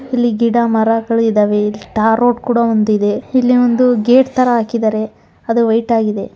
ಇಲ್ಲಿ ಗಿಡ ಮರಗಳು ಇದವೆ ಇಲ್ಲಿ ಟಾರ್ ರೋಡು ಕೂಡ ಒಂದು ಇದೆ ಇಲ್ಲಿ ಒಂದು ಗೇಟು ತರ ಹಾಕಿದರೆ ಅದು ವೈಟ್ ಆಗಿದೆ.